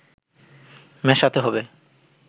মেশাতে হবে